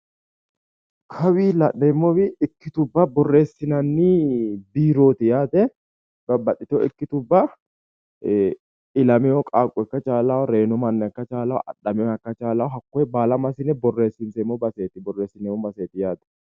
Kawii la'neemmowi ikkitubba borreessinanni biiroti yaate babbaxitewo ikkitubba ilameyo qaaqqo ikka chaalawo reeno manna ikka chaalawo adhameyoha ikka chaalawo hakkoye baala massine borrensiisseemmo baseeti yaate